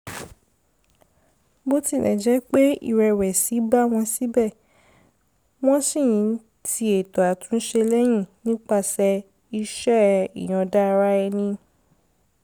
bó tilẹ̀ jẹ́ pé ìrẹ̀wẹ̀sì bá wọn síbẹ̀ wọ́n ṣì ń ti ètò àtúnṣe lẹ́yìn nípasẹ̀ iṣẹ́ ìyọ̀ǹda ara ẹni